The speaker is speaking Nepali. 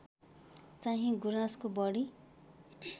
चाहिँ गुराँसको बढी